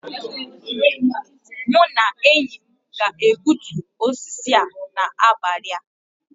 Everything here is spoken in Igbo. Mụ na enyi m ga-egbutu osisi a n'abalị a